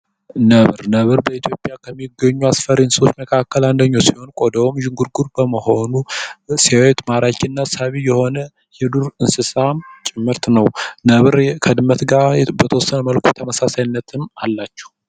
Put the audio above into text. ነብር: ነብር በኢትዮጵያ ከሚገኙ አስፈሪ እንስሳወች መካከል አንደኘዉ ሲሆን ቆዳዉም ዥንጉርጉር ከመሆኑ ሲያዩት ማራኪና ሳቢ የሆነ የዱር እንስሳ ምርት ነዉ ነብር ከድመት ጋር በተወሰነ መልኩ ተመሳሳይነትም አላቸዉ።